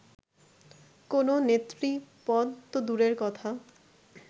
কোনো নেতৃপদ তো দূরের কথা